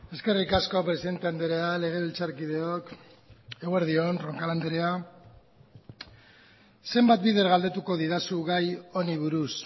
eskerrik asko presidente andrea legebiltzarkideok eguerdi on roncal andrea zenbat bider galdetuko didazu gai honi buruz